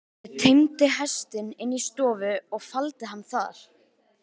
Ég teymdi hestinn inn í stofu og faldi hann þar.